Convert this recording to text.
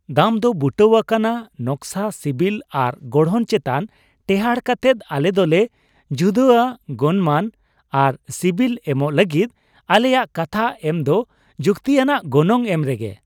ᱫᱟᱢ ᱫᱚ ᱵᱩᱴᱟᱹᱣᱟᱠᱟᱱᱟ ᱱᱟᱠᱥᱟ, ᱥᱤᱵᱤᱞ, ᱟᱨ ᱜᱚᱲᱦᱚᱱ ᱪᱮᱛᱟᱱ ᱴᱮᱦᱟᱰ ᱠᱟᱛᱮᱫ ᱾ ᱟᱞᱮ ᱫᱚ ᱞᱮ ᱡᱩᱫᱟᱹᱼᱟ ᱜᱚᱱᱢᱟᱱ ᱟᱨ ᱥᱤᱵᱤᱞ ᱮᱢᱚᱜ ᱞᱟᱹᱜᱤᱫ, ᱟᱞᱮᱭᱟᱜ ᱠᱟᱛᱷᱟ ᱮᱢ ᱫᱚ ᱡᱩᱠᱛᱤᱭᱟᱱᱟᱜ ᱜᱚᱱᱚᱝ ᱮᱢ ᱨᱮᱜᱮ ᱾